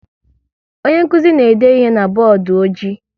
Onye nkụzi na-ede ihe na bọọdụ ọjị